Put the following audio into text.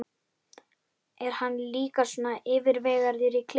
Er hann líka svona yfirvegaður í klefanum?